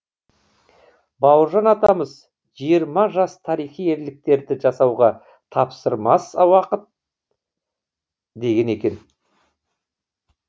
бауыржан атамыз жиырма жас тарихи ерліктерді жасауға таптырмас уақыт деген екен